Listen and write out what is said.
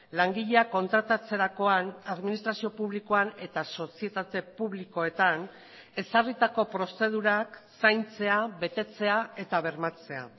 langileak kontratatzerakoan administrazio publikoan eta sozietate publikoetan ezarritako prozedurak zaintzea betetzea eta bermatzea